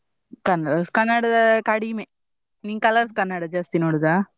Colors Kannada ಕಡಿಮೆ, ನೀನ್ Colors Kannada ಜಾಸ್ತಿ ನೋಡುದ?